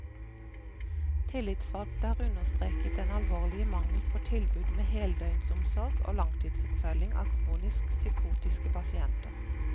Tillitsvalgte har understreket den alvorlige mangel på tilbud med heldøgnsomsorg og langtidsoppfølging av kronisk psykotiske pasienter.